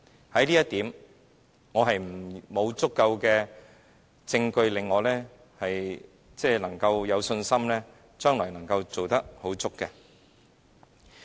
對於這一點，沒有足夠證據令我有信心將來能做得令人滿意。